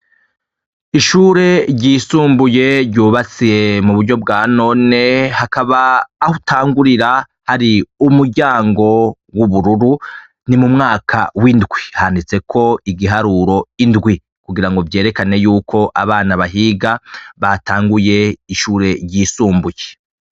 Ishure ryisumbuye ryubatse muburyo bwa none hakaba ahutangurira hari umuryango wubururu ni mu mwaka windwi handitseko igiharuro indwi kugirango vyerekane ko abana bahiga batanguye ishure ryisumbuye.